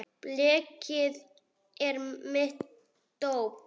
Blekið er mitt dóp.